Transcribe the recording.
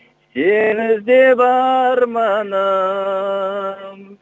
сені іздеп арманым